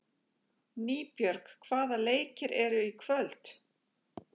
Nýbjörg, hvaða leikir eru í kvöld?